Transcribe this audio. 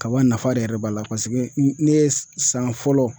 Kaba nafa de yɛrɛ b'a la paseke ne ye san fɔlɔ